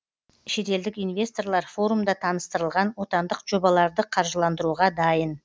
шетелдік инвесторлар форумда таныстырылған отандық жобаларды қаржыландыруға дайын